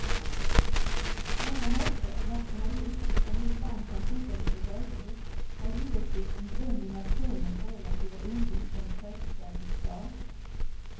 Denna norska nationalism, som vi ibland kan tycka lite löjlig, har givetvis sin grund i nationens relativa ungdom som självständig stat.